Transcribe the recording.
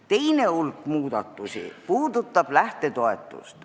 Teine hulk muudatusi puudutab lähtetoetust.